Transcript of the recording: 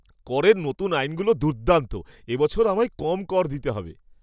করের নতুন আইনগুলো দুর্দান্ত! এবছর আমায় কম কর দিতে হবে!